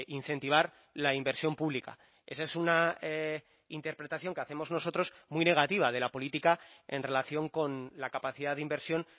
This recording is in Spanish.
incentivar la inversión pública esa es una interpretación que hacemos nosotros muy negativa de la política en relación con la capacidad de inversión